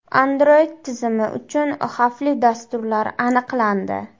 Android tizimi uchun xavfli dasturlar aniqlandi.